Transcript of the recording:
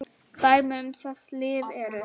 Dæmi um þessi lyf eru